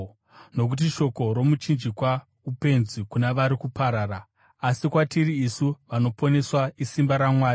Nokuti shoko romuchinjikwa upenzi kuna vari kuparara, asi kwatiri isu vanoponeswa isimba raMwari.